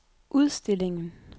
udstillingen